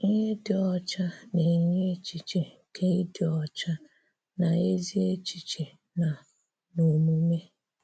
Ihè dị ọ́cha na-enyè echichè nke ịdị ọ́cha n’ezìchìchè na n’òmumè.